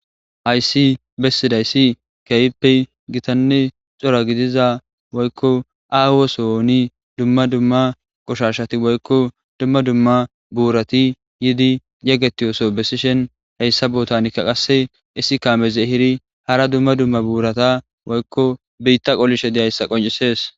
hayssi bessidaysi keyppe gitanne cora gidiza woykko aahosoni dumma dumma qoshashati woykko dumma dumma buurati yidi yegetiyoso bessishen heyssa bootanikka qasse isi kaameze ehiri hara dumma dumma buurata woykko beytta qolishe diyayssa qoncisees